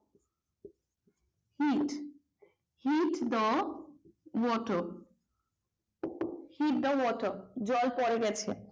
heat heat the water heat the water জল পড়ে গেছে।